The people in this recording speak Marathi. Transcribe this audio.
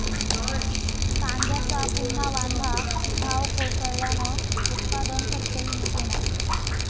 कांद्याचा पुन्हा वांदा, भाव कोसळल्यानं उत्पादन खर्चही निघेना